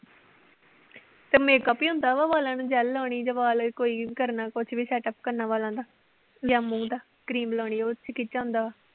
ਤੇ makeup ਈ ਹੁੰਦਾ ਵਾ ਵਾਲਾਂ ਨੂੰ gel ਲਾਉਣੀ ਜਾਂ ਵਾਲ ਕੋਈ ਕਰਨਾ ਕੁਛ ਵੀ setup ਕਰਨਾ ਵਾਲਾਂ ਦਾ ਜਾਂ ਮੂੰਹ ਦਾ cream ਲਾਉਣੀ ਉਹ ਕਿਹ ਚ ਆਉਂਦਾ ਵਾ।